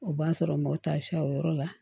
O b'a sɔrɔ n ma taa siya o yɔrɔ la